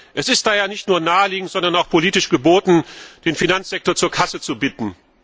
Es ist daher nicht nur naheliegend, sondern auch politisch geboten, den Finanzsektor zur Kasse zu bitten.